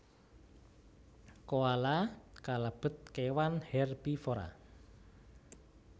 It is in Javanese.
Koala kalebet kewan hèrbivora